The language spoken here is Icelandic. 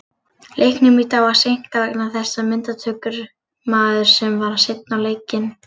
Leiknum í dag var seinkað vegna þess að myndatökumaður var seinn á leikinn.